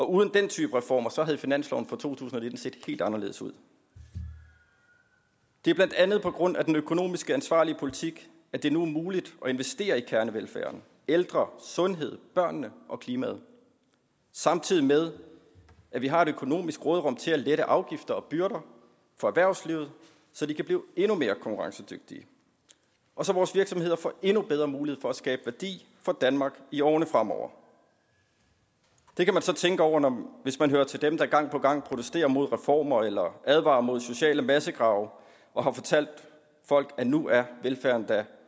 uden den type reformer havde finansloven for to tusind og nitten set helt anderledes ud det er blandt andet på grund af den økonomisk ansvarlige politik at det nu er muligt at investere i kernevelfærden ældre sundhed børn og klima samtidig med at vi har et økonomisk råderum til at lette afgifter og byrder for erhvervslivet så de kan blive endnu mere konkurrencedygtige og så vores virksomheder får endnu bedre mulighed for at skabe værdi for danmark i årene fremover det kan man så tænke over hvis man hører til dem der gang på gang protesterer mod reformer eller advarer mod sociale massegrave og har fortalt folk at nu er velfærden da